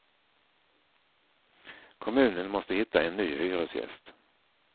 Kommunen måste hitta en ny hyresgäst.